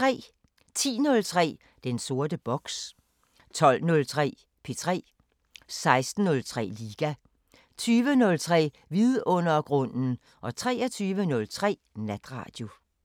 10:03: Den sorte boks 12:03: P3 16:03: Liga 20:03: Vidundergrunden 23:03: Natradio